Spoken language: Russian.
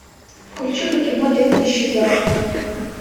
включи ка кино леди исчезает